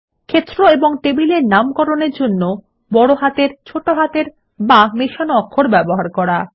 ক্ষেত্র এবং টেবিলের নামকরণের জন্য বড় হাতের ছোট হাতের বা মিশ্রিত অক্ষর ব্যবহার করা